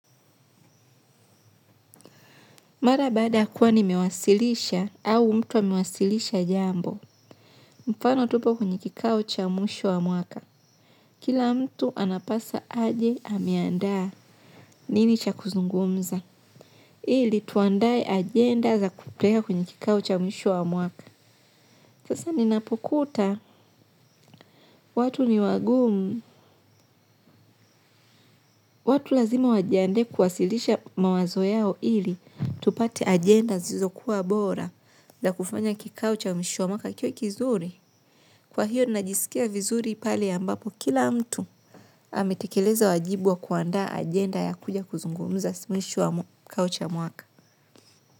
Mara baada kuwa nimewasilisha au mtu amewasilisha jambo. Mfano tupo kwenye kikao cha mwisho wa mwaka. Kila mtu anapasa aje ameandaa nini cha kuzungumza. Ili tuandae agenda za kupeleka kwenye kikao cha mwisho wa mwaka. Sasa ninapokuta, watu ni wagumu. Watu lazima wajiande kuwasilisha mawazo yao ili. Tupate agenda zilizo kuwa bora za kufanya kikao cha mwisho wa mwaka ikiwa kizuri. Kwa hiyo najisikia vizuri pale ambapo kila mtu ametekeleza wa jibu wa kuandaa agenda ya kuja kuzungumuza mwisho wa kikao cha mwaka.